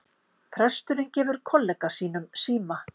Presturinn gefur kollega sínum síma